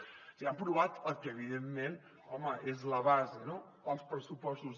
o sigui han aprovat el que evidentment home és la base no els pressupostos